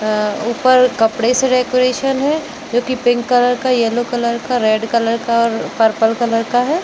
आह ऊपर कपडे से डेकोरेशन है जो की पिंक कलर का येलो कलर का रेड कलर का पर्पल कलर का हैं।